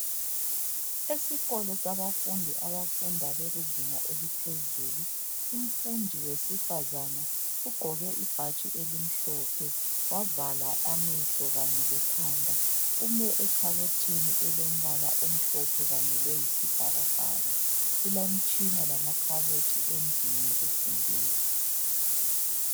Esikolo sabafundi abafunda bekuzinga eliphezulu umfundi wesifazana ugqoke ibhatshi elimhlophe, wavala amehlo kanye lekhanda. Ume ekhabothini elombala omhlophe kanye loyisibhakabhaka. Kulemitshina lamakhabothi endlini yokufundela.